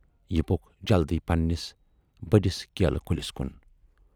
یہِ پوٚک جلدی پنٛنِس بٔڑِس کیلہٕ کُلِس کُن۔